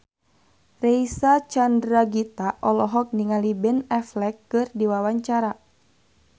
Reysa Chandragitta olohok ningali Ben Affleck keur diwawancara